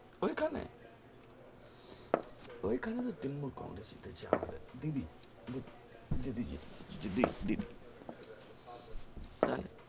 ঐখানে ঐখানে তো তৃণমূল congress তে যাওয়া যায় দিদি দিদি তাহলে